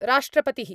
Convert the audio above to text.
राष्ट्रपतिः